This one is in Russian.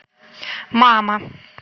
мама